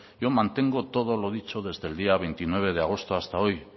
yo mantengo todo lo dicho desde el día veintinueve de agosto hasta hoy